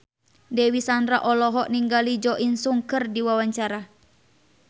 Dewi Sandra olohok ningali Jo In Sung keur diwawancara